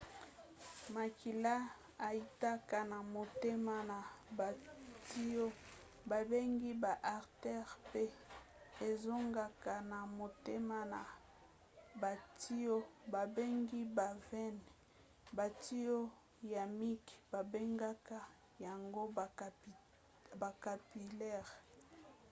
makila eutaka na motema na batiyo babengi ba artères pe ezongaka na motema na batiyo babengi ba veines. batiyo ya mike babengaka yango ba capillaires